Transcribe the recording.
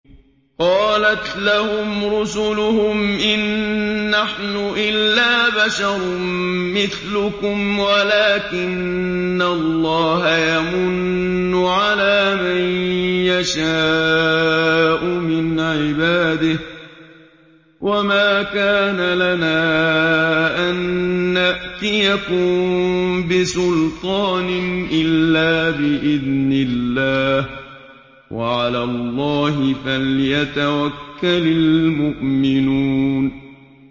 قَالَتْ لَهُمْ رُسُلُهُمْ إِن نَّحْنُ إِلَّا بَشَرٌ مِّثْلُكُمْ وَلَٰكِنَّ اللَّهَ يَمُنُّ عَلَىٰ مَن يَشَاءُ مِنْ عِبَادِهِ ۖ وَمَا كَانَ لَنَا أَن نَّأْتِيَكُم بِسُلْطَانٍ إِلَّا بِإِذْنِ اللَّهِ ۚ وَعَلَى اللَّهِ فَلْيَتَوَكَّلِ الْمُؤْمِنُونَ